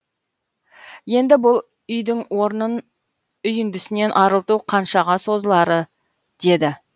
енді бұл үйдің орнын үйіндісінен арылту қаншаға созылары деді